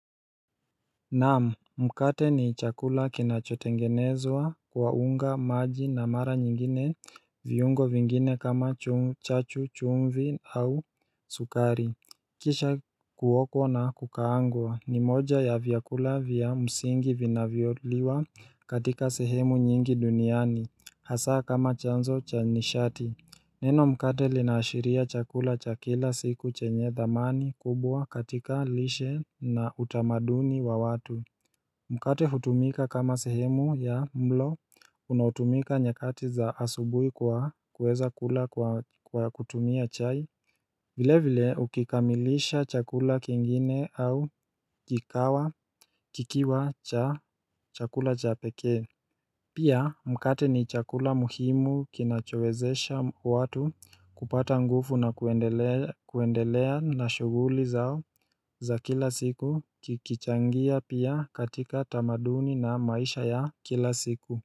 Naamu mkate ni chakula kinachotengenezwa kwa unga maji na mara nyingine viungo vingine kama chachu chumvi au sukari Kisha kuokwa na kukaangwa ni moja ya vyakula vya msingi vinavyoliwa katika sehemu nyingi duniani hasa kama chanzo cha nishati Neno mkate linaashiria chakula cha kila siku chenye dhamani kubwa katika lishe na utamaduni wa watu Mkate hutumika kama sehemu ya mlo unaotumika nyekati za asubui kwa kuweza kula kwa kutumia chai vile vile ukikamilisha chakula kingine au kikawa kikiwa cha chakula cha peke Pia mkate ni chakula muhimu kinachowezesha watu kupata ngufu na kuendelea na shuguli zao za kila siku kichangia pia katika tamaduni na maisha ya kila siku.